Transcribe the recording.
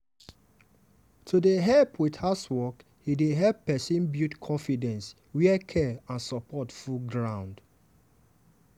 to dey help with housework dey help person build confidence where care and support full ground.